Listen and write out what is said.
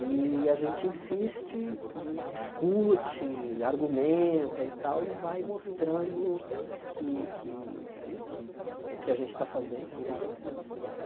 E a gente insiste e discute, argumenta e tal, e vai mostrando que que eh que o que a gente está fazendo realmente é ensinando história.